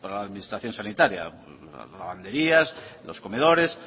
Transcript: la administración sanitaria lavanderías los comedores